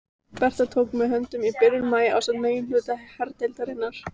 Bretar tóku mig höndum í byrjun maí ásamt meginhluta herdeildarinnar.